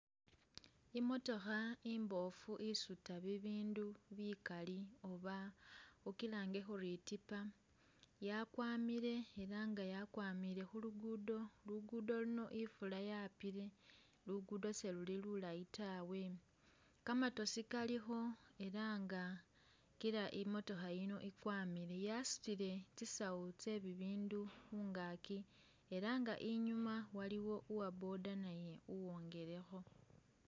Imotokha imbofu isuuta bibindu bikaali oba ukilange uri itipa yakwamile ela nga yakwamile khulugudo, khulugudo luno ifula yapile , lugudo seluli lulayi taawe, kamatosi kalikho ela nga kila imotokha iyino ikwamile yasutile tsisaawu tse bibindu khungaki ela nga waliwo uwoboda naye uwongelekho.